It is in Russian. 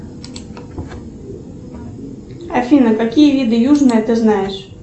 афина какие виды южное ты знаешь